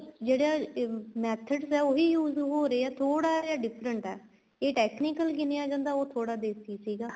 ਜਿਹੜਾ methods ਹੈ ਉਹੀ use ਹੋ ਰਹੇ ਹੈ ਥੋੜਾ ਜਾ different ਏ ਇਹ technical ਜਿਵੇਂ ਆ ਜਾਂਦਾ ਉਹ ਥੋੜਾ ਦੇਸੀ ਸੀਗਾ